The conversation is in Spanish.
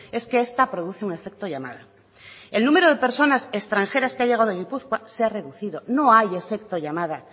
es que esta produce un efecto llamada el número de personas extranjeras que ha llegado a gipuzkoa se ha reducido no hay efecto llamada